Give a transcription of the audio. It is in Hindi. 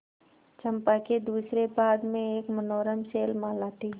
चंपा के दूसरे भाग में एक मनोरम शैलमाला थी